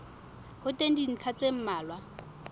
ho teng dintlha tse mmalwa